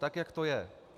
Tak jak to je.